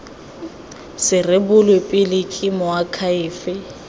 se rebolwe pele ke moakhaefe